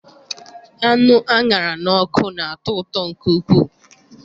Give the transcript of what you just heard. Anụ a ṅara n'ọkụ na-atọ ụtọ nke ukwuu.